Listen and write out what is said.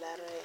laree.